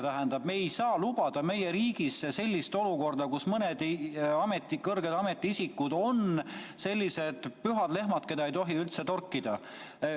Tähendab, me ei saa lubada meie riigis sellist olukorda, kus mõned kõrged ametiisikud on pühad lehmad, keda ei tohi üldse torkida.